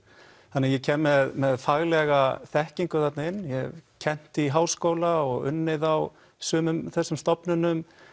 þannig ég kem með faglega þekkingu þarna inn ég hef kennt í háskóla og unnið á sumum þessum stofnunum